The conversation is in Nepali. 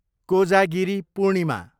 कोजागिरी पूर्णिमा